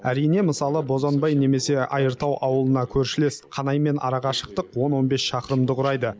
әрине мысалы бозанбай немесе айыртау ауылына көршілес қанаймен ара қашықтық он он бес шақырымды құрайды